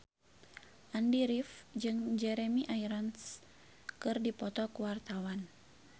Andy rif jeung Jeremy Irons keur dipoto ku wartawan